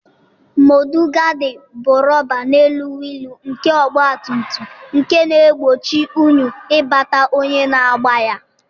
Mọdụgaadị bụ rọba n'elu wịịlụ nke ọgbatumtum nke na-egbochi unyi ịbata onye na-agba ya.